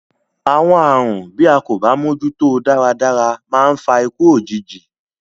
Àwọn àrùn, bí a kò bá mójúto dáradára, máa ń fa ikú òjijì.